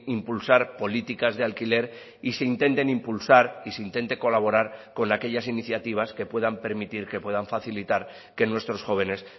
impulsar políticas de alquiler y se intenten impulsar y se intente colaborar con aquellas iniciativas que puedan permitir que puedan facilitar que nuestros jóvenes